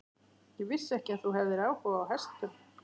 Ég vissi ekki að þú hefðir áhuga á hestum.